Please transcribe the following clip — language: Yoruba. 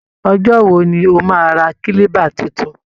Ọjọ́ wo ni o máa ra Kílíbà tuntun?